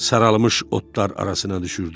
Saralmış otlar arasına düşürdüm.